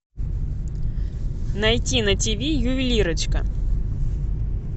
найти на тв ювелирочка